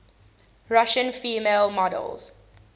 russian female models